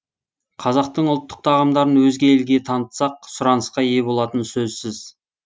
қазақтың ұлттық тағамдарын өзге елге танытсақ сұранысқа ие болтыны сөзсіз